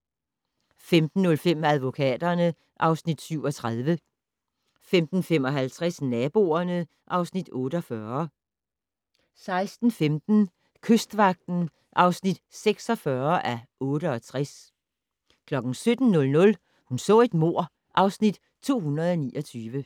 15:05: Advokaterne (Afs. 37) 15:55: Naboerne (Afs. 48) 16:15: Kystvagten (46:68) 17:00: Hun så et mord (Afs. 229)